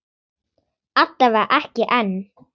Alla vega ekki enn.